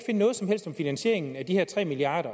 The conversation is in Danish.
noget som helst om finansieringen af de her tre milliard